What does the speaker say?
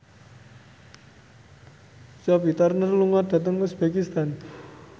Sophie Turner lunga dhateng uzbekistan